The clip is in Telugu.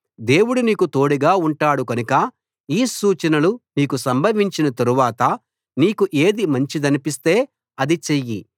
దేవుడు నీకు తోడుగా ఉంటాడు కనుక ఈ సూచనలు నీకు సంభవించిన తరువాత నీకు ఏది మంచిదనిపిస్తే అది చెయ్యి